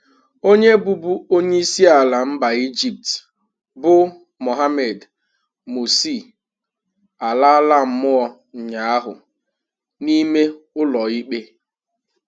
Onye bụbu onye isiala mba Ejipt, bụ Mohammed Morsi alala mụọ ụnyahụ n'ime ụlọikpe.